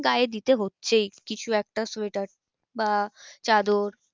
গায়ে দিতে হচ্ছেই কিছু একটা সোয়েটার বা চাদর